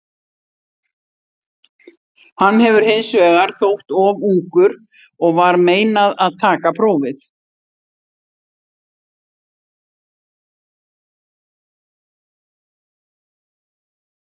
Hann hefur hins vegar þótt of ungur og var meinað að taka prófið.